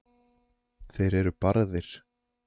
þeir eru barðir